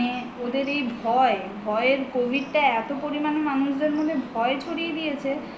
মানে ওদের এই ভয় ভয়ের covid টা এত পরিমান মানুষদের মনে ভয় ছড়িয়ে দিয়েছে